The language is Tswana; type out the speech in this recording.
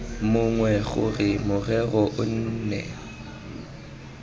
mongwe gore morero o nne